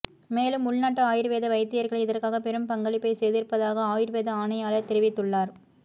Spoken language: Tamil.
மேலும் உள்நாட்டு ஆயுர்வேத வைத்தியர்கள் இதற்காக பெரும் பங்களிப்பைச் செய்திருப்பதாக ஆயுர்வேத ஆணையாளர் தெரிவித்துள்ளார்